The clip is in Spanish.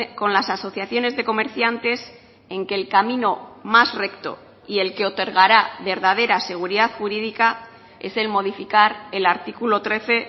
con las asociaciones de comerciantes en que el camino más recto y el que otorgará verdadera seguridad jurídica es el modificar el artículo trece